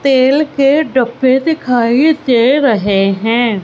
तेल के डब्बे दिखाई दे रहे हैं।